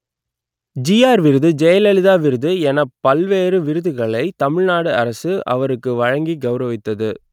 GR விருது ஜெயலலிதா விருது எனப் பல்வேறு விருதுகளை தமிழ் நாடு அரசு அவருக்கு வழங்கி கெளரவித்தது